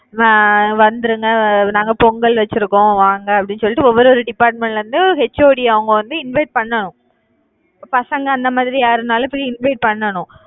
அஹ் வந்துருங்க நாங்க பொங்கல் வச்சிருக்கோம் வாங்க அப்படின்னு சொல்லிட்டு ஒவ்வொரு department ல இருந்தும் HOD அவங்க வந்து invite பண்ணனும் பசங்க அந்த மாதிரி யாருனாலும் போய் invite பண்ணனும்.